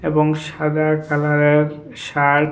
এবং সাদা কালারের শার্ট ।